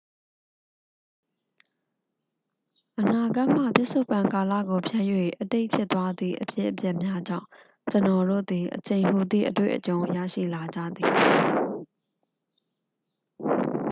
အနာဂတ်မှ ပစ္စုပ္ပန်ကာလကိုဖြတ်၍ အတိတ်ဖြစ်သွားသည့် အဖြစ်အပျက်များကြောင့် ကျွန်တော်တို့သည် အချိန်ဟူသည့် အတွေ့အကြုံရရှိလာကြရသည်